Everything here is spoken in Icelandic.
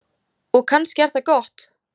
Og kannski er það gott.